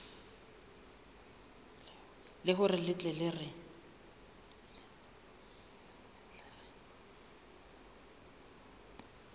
le hore re tle re